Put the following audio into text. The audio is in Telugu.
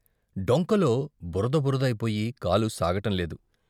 డొంకలో బురద బురద అయిపోయి కాలు సాగటం లేదు.